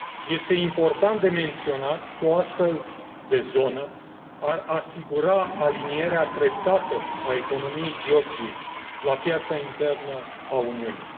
Este important de menționat că o astfel de zonă ar asigura alinierea treptată a economiei Georgiei la piața internă a Uniunii.